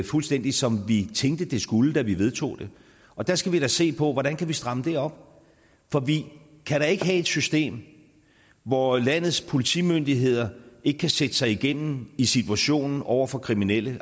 fuldstændig som vi tænkte det skulle da vi vedtog det og der skal vi da se på hvordan vi kan stramme det op for vi kan da ikke have et system hvor landets politimyndigheder ikke kan sætte sig igennem i situationen over for kriminelle